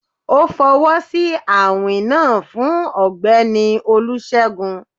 O fọwọsi awin naa fun Ọgbẹni olusegun